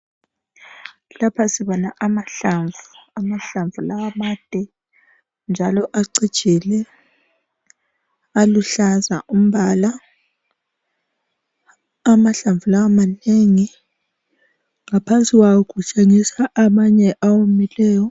Lapha sibona amahlamvu amahlamvu lawa made njalo acijile aluhlaza umbala amahlamvu lawa manengi ngaphansi kwawo kutshengisa amanye awomileyo.